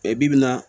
Bi bi in na